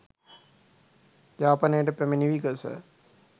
යාපනයට පැමිණි විගස